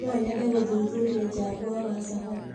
No nyende gũthuthuria jangwa wa Sahara.